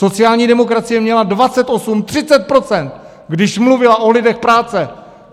Sociální demokracie měla 28, 30 %, když mluvila o lidech práce!